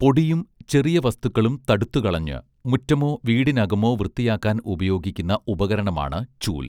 പൊടിയും ചെറിയ വസ്തുക്കളും തടുത്തുകളഞ്ഞ് മുറ്റമോ വീടിനകമോ വൃത്തിയാക്കാൻ ഉപയോഗിക്കുന്ന ഉപകരണമാണ് ചൂൽ